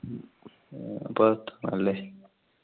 പുറത്താണെല്ലേ?